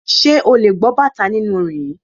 Ṣé ò lè gbọ́ bàtá nínú orin yìí.